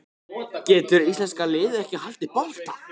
Getur íslenska liðið ekki haldið bolta?